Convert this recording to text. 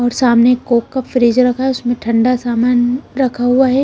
और सामने कोक का फ्रिज रखा है उसमें ठंडा सामान रखा हुआ है।